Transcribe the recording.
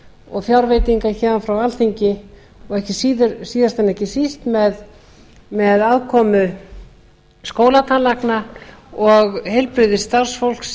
og fjárveitinga héðan frá alþingi og síðast en ekki síst með aðkomu skólatannlækna og heilbrigðisstarfsfólks